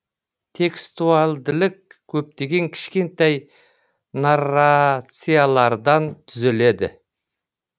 текстуалділік көптеген кішкентай нар рациалар дан түзіледі